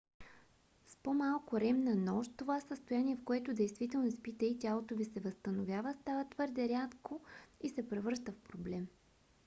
с по-малко рем на нощ това състояние в което действително спите и тялото ви се възстановява става твърде рядко и се превръща в проблем